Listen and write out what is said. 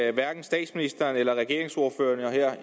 at hverken statsministeren eller regeringsordførerne